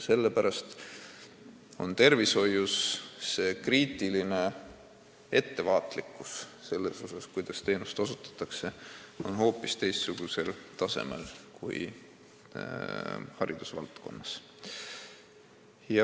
Sellepärast on tervishoius ettevaatlikkus ja hool, kuidas teenust osutatakse, kriitilise tähtsusega ja hoopis teistsugusel tasemel kui haridusvaldkonnas.